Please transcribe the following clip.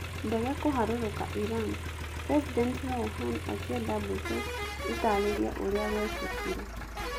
Ndege kũharũrũka Iran: President Rouhani akĩenda mbũtũ ĩtaarĩrie ũrĩa gwekĩkire